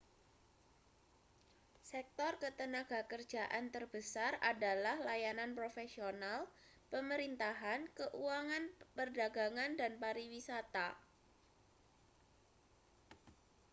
sektor ketenagakerjaan terbesar adalah layanan profesional pemerintahan keuangan perdagangan dan pariwisata